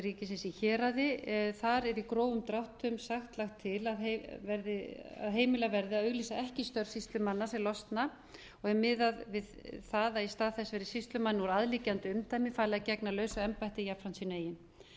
ríkisins í héraði þar er í grófum dráttum sagt lagt til að heimilað verði að auglýsa ekki störf sýslumanna sem losna og er miðað við það að í stað þess verði sýslumenn úr aðliggjandi umdæmi falið að gegna lausu embætti jafnframt sínu